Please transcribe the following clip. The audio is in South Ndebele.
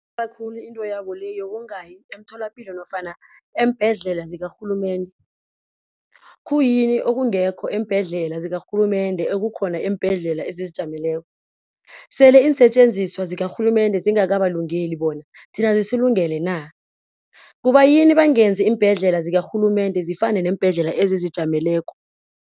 Khulu into yabo le yokungayi emtholapilo nofana eembhedlela zikarhulumende. Khuyini okungekho eembhedlela zikarhulumende ekukhona eembhedlela ezizijameleko? Sele iinsetjenziswa zikarhulumende zingakabalungeli bona, thina zisilungele na? Kubayini bangenzi iimbhedlela zikarhulumende zifane neembhedlela ezizijameleko?